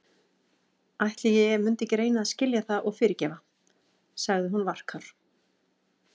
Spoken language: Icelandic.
Ætli ég mundi ekki reyna að skilja það og fyrirgefa- sagði hún varkár.